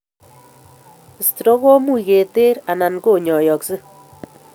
Stroke ko much keter and koinyoyoksei